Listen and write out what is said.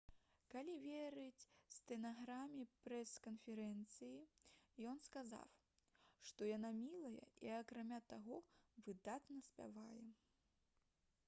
калі верыць стэнаграме прэс-канферэнцыі ён сказаў «што яна мілая і акрамя таго выдатна спявае»